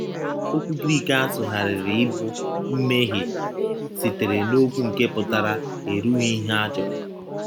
Okwu Grik a sụgharịrị ịbụ “ mmehie ” sitere n’okwu nke pụtara “ erughị ihe a chọrọ.